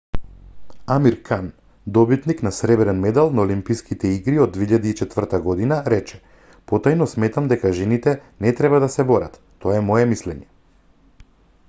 амир кан добитник на сребрен медал на олимписките игри од 2004 г рече потајно сметам дека жените не треба да се борат тоа е мое мислење